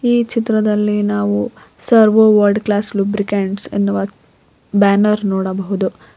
ಈ ಚಿತ್ರದಲ್ಲಿ ನಾವು ಸರ್ವೊ ವರ್ಲ್ಡ್ ಕ್ಲಾಸ್ ಲುಬ್ರಿಕೇಟ್ಸ್ ಎನ್ನುವ ಬ್ಯಾನರ್ ನೋಡಬಹುದು.